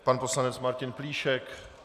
Pan poslanec Martin Plíšek?